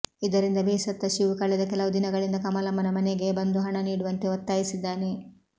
ಇದರಿಂದ ಬೇಸತ್ತ ಶಿವು ಕಳೆದ ಕೆಲವು ದಿನಗಳಿಂದ ಕಮಲಮ್ಮನ ಮನೆಗೆ ಬಂದು ಹಣ ನೀಡುವಂತೆ ಒತ್ತಾಯಿಸಿದ್ದಾನೆ